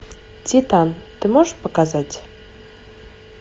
титан ты можешь показать